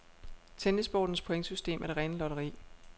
Tennissportens pointsystem er det rene lotteri.